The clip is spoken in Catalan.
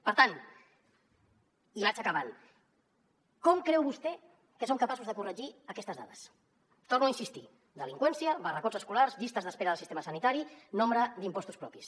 per tant i vaig acabant com creu vostè que som capaços de corregir aquestes dades hi torno a insistir delinqüència barracots escolars llistes d’espera del sistema sanitari nombre d’impostos propis